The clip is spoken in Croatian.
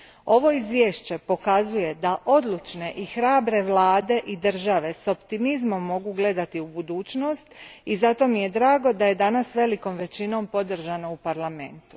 Ovo izvješće pokazuje da odlučne i hrabre vlade i države s optimizmom mogu gledati u budućnost i zato mi je drago da je izvješće danas velikom većinom podržano u Parlamentu.